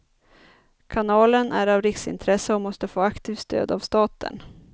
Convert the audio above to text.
Kanalen är av riksintresse och måste få aktivt stöd av staten.